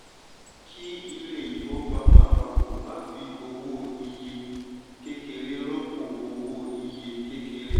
kí ilé ifówopàmọ́ àpapọ̀ má fi owó iye kékeré rọ́pò owó iye kékeré.